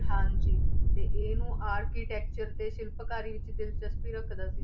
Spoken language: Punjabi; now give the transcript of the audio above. ਹਾਂਜੀ ਤੇ ਇਹਨੂੰ architecture ਤੇ ਸ਼ਿਲਪਕਾਰੀ ਵਿੱਚ ਦਿਲਚਸਪੀ ਰੱਖਦਾ ਸੀ,